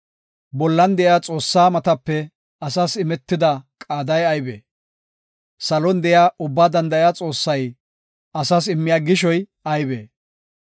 Bollan de7iya Xoossaa matape asas imetida qaaday aybee? Salon de7iya Ubbaa Danda7iya Xoossay asas immiya gishoy aybee?